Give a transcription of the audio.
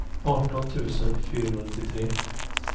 arton tusen fyrahundranittiotre